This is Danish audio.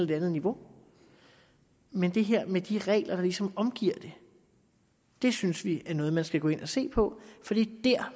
det andet niveau men det her med de regler der ligesom omgiver det det synes vi er noget man skal gå ind at se på for det er